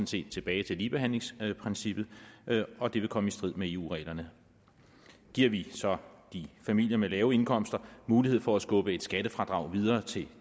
set tilbage til ligebehandlingsprincippet og det vil komme i strid med eu reglerne giver vi så de familier med lave indkomster mulighed for at skubbe et skattefradrag videre til